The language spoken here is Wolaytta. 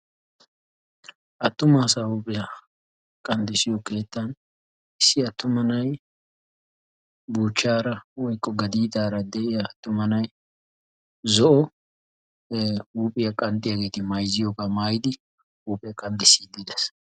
issi attuma na'ay buuchchaara woykko gadiidara de'iyaa attuma na'ay zo'o huuphphiyaa huuphphiyaa qanxxisiyaageti maayzziyoogaa maayidi huuphphiyaa qanxxisiidi de'ees.